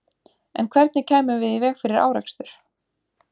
En hvernig kæmum við í veg fyrir árekstur?